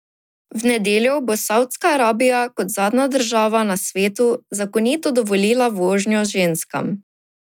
V nedeljo bo Savdska Arabija kot zadnja država na svetu zakonito dovolila vožnjo ženskam.